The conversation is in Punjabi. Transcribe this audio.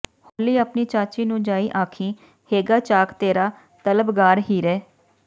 ਹੌਲੀ ਆਪਣੀ ਚਾਚੀ ਨੂੰ ਜਾਇ ਆਖੀਂ ਹੈਗਾ ਚਾਕ ਤੇਰਾ ਤਲਬਗਾਰ ਹੀਰੇ